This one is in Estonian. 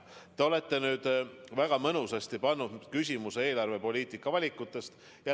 Te olete väga mõnusasti esitanud küsimuse eelarvepoliitika valikute kohta.